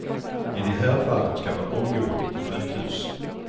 I de här fallen ska man omgående till sjukhus.